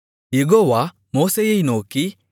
யெகோவா மோசேயை நோக்கி